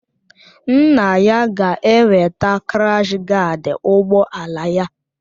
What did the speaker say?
Nna ya ga-eweta krash gaad ụgbọ ala ya